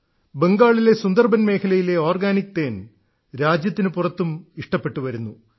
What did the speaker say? ബംഗാളിലെ സുന്ദർബൻ മേഖലയിലെ ഒർഗാനിക് തേൻ രാജ്യത്തിനു പുറത്തും ഇഷ്ടപ്പെട്ടുവരുന്നു